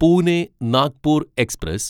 Pune Nagpur express